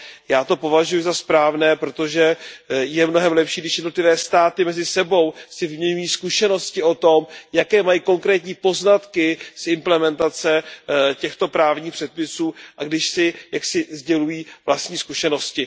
Já to považuji za správné, protože je mnohem lepší, když jednotlivé státy mezi sebou si vyměňují zkušenosti o tom, jaké mají konkrétní poznatky s implementací těchto právních předpisů, a když si jaksi sdělují vlastní zkušenosti.